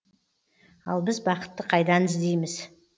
ал біз бақытты қайдан іздейміз